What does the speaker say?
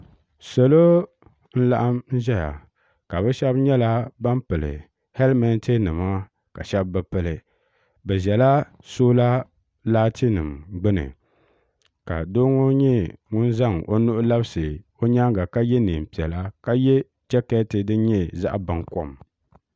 salo n laɣam ʒɛya ka bi shab nyɛla ban pili hɛlmɛnti nima ka shab bi pili bi ʒɛla soola laati nim gbuni ka doo ŋɔ nyɛ ŋun zaŋ o nuhi labisi o nyaanga ka yɛ neen piɛla ka yɛ jɛkɛti din nyɛ zaɣ baŋkɔm